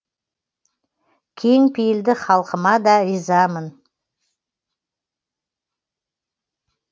кең пейілді халқыма да ризамын